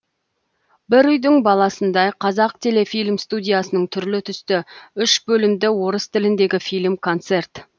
бір үйдің баласындай қазақтелефильм студиясының түрлі түсті үш бөлімді орыс тіліндегі фильм концерт